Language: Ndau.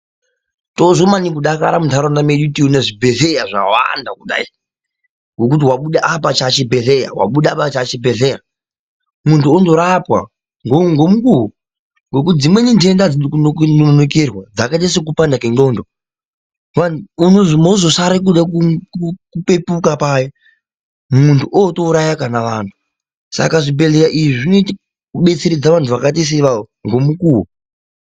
Tozwa maningi kudakara mundaraunda medu teyi woone zvibhedhleya zvawanda maningi kudayi wekuti wabude apa chachibhedhleya wabuda apa chachibhedhleya mundu onorapwa ngomukuwo nekuti dzimweni ndenda hadzidi kunonokerwa dzakaita sekupanda kwendxondo wani mozosara kuda kupepuka paya mundu oto uraya kana vanhu saka zvibhedhleya izvi zvinoite kubetseredza vanhu vakaita se ivavo ngomukuwo.